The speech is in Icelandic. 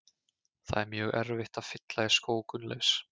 Það er mjög erfitt að fylla í skó Gunnleifs.